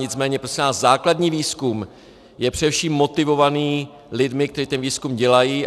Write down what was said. Nicméně prosím vás, základní výzkum je především motivovaný lidmi, kteří ten výzkum dělají.